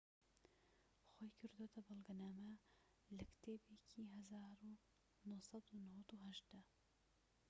خۆی کردۆتە بەڵگەنامە لە کتێبێکی ساڵی ١٩٩٨ دا